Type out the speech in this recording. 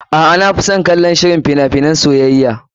A'a, na fi son kallon shirin fina finan soyayya.